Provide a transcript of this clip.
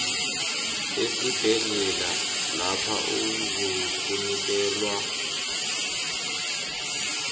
esibhedlela lapho uzakunikelwa